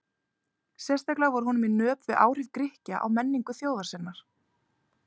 Sérstaklega var honum í nöp við áhrif Grikkja á menningu þjóðar sinnar.